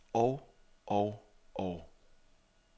og og og